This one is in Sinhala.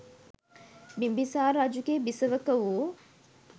බිම්බිසාර රජුගේ බිසවක වූ